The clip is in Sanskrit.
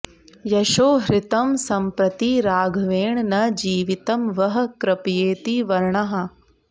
यशो हृतं संप्रति राघवेण न जीवितं वः कृपयेति वर्णाः